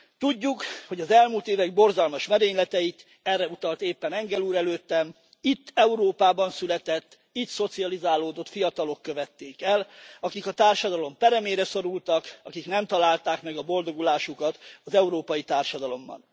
Tudjuk, hogy az elmúlt évek borzalmas merényleteit erre utalt éppen Engel úr előttem itt Európában született, itt szocializálódott fiatalok követték el, akik a társadalom peremére szorultak, akik nem találták meg a boldogulásukat az európai társadalomban.